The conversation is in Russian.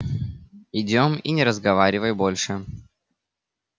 идём и не разговаривай больше